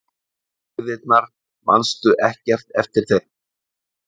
Hægðirnar, manstu ekkert eftir þeim?